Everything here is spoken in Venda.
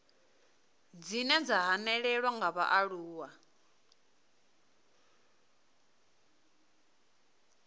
dzine dza hanelelwa nga vhaaluwa